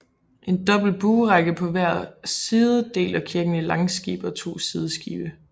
En dobbelt buerække på hver side deler kirken i langskib og to sideskibe